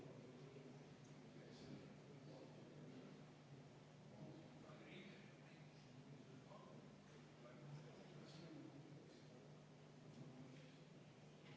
Loomulikult, kontroll tuleb kehtestada, et seda musta sektorit vähendada, eriti just ehitussektoris.